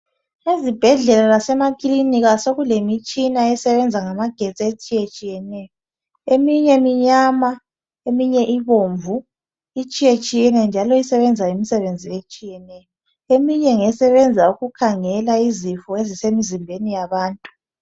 ezibhedlela lasemakilinika sekulemitshina esebenza ngamagetsi etshiyetshiyeneyo eminye minyama eminye ibomvu itshiyetshiyene njalo isebenza imisbenzi etshiyeneyo eminye ngesebenza ukukhangela izifo ezisemzimbeni yabantu